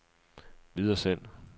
videresend